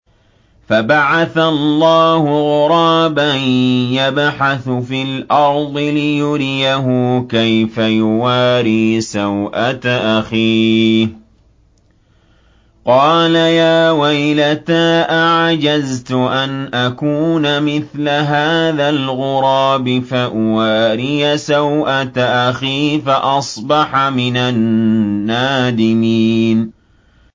فَبَعَثَ اللَّهُ غُرَابًا يَبْحَثُ فِي الْأَرْضِ لِيُرِيَهُ كَيْفَ يُوَارِي سَوْءَةَ أَخِيهِ ۚ قَالَ يَا وَيْلَتَا أَعَجَزْتُ أَنْ أَكُونَ مِثْلَ هَٰذَا الْغُرَابِ فَأُوَارِيَ سَوْءَةَ أَخِي ۖ فَأَصْبَحَ مِنَ النَّادِمِينَ